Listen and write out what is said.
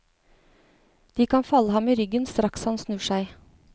De kan falle ham i ryggen, straks han snur seg.